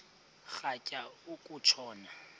rhatya uku tshona